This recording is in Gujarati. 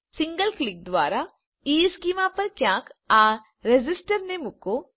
સિંગલ ક્લિક દ્વારા ઇશ્ચેમાં પર ક્યાંક આ રેઝિસ્ટરને મૂકો